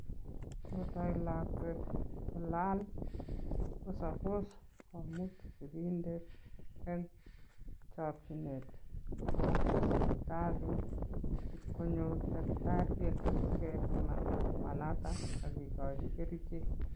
Ngotai lakwet kolaal, ko suppose komut sigindet en chakchinet kwoo sipitalit, ipkonyor daktariek, asikepiman lakwanatak akekochi kerichek